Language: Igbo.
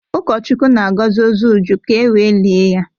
Ụkọchukwu na-agọzi ozu Uju ka e wee lie ya.